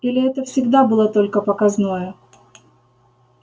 или это всегда было только показное